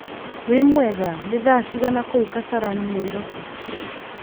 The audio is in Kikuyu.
wĩ mwega nĩ thaa cigana kũu kasarani nairobi